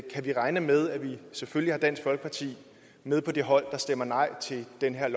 vi regne med at vi selvfølgelig har dansk folkeparti med på det hold der stemmer nej til det her